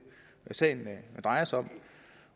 sagen drejer sig om